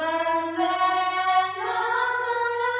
Vande Mataram